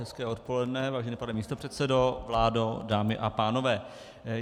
Hezké odpoledne, vážený pane místopředsedo, vládo, dámy a pánové.